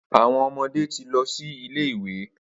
Awọn ọmọde ti lọ si ile-iwe.